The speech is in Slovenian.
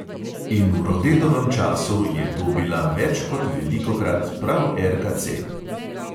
In v rodetovem času je to bila več kot velikokrat prav RKC.